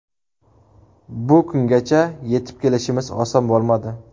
Bu kungacha yetib kelishimiz oson bo‘lmadi.